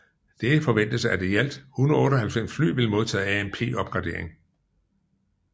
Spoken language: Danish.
Det forventes at i alt 198 fly vil modtage AMP opgraderingen